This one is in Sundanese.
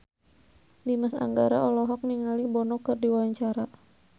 Dimas Anggara olohok ningali Bono keur diwawancara